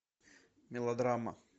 мелодрама